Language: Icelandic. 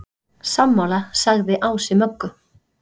Sammála, sagði Ási Möggu.